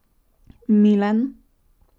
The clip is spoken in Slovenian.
Milan?